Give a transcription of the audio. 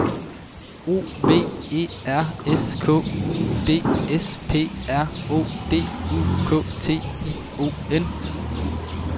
O V E R S K U D S P R O D U K T I O N